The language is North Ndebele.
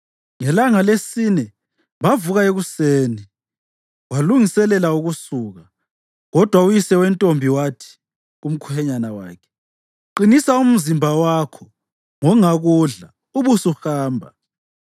Ngelanga lesine bavuka ekuseni, walungiselela ukusuka, kodwa uyise wentombi wathi kumkhwenyana wakhe, “Qinisa umzimba wakho ngongakudla; ubusuhamba.”